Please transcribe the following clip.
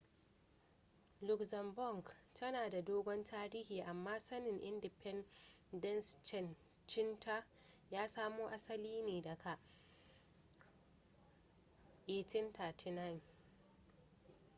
luxembourg tana da dogon tarihi amma samin independenceancinta ya samo asali ne daga 1839